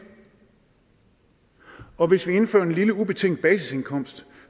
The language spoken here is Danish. og hvis vi indfører en lille ubetinget basisindkomst